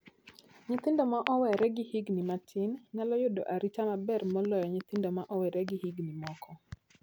Nyithindo ma owere gi higni matin nyalo yudo arita maber moloyo nyithindo ma ok owere gi higni moko.